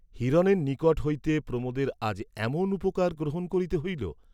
হিরণের নিকট হইতে প্রমোদের আজ এমন উপকার গ্রহণ করিতে হইল?